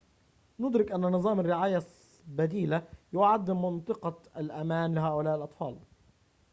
ندرك أن نظام الرعاية البديلة يعد منطقة الأمان لهؤلاء الأطفال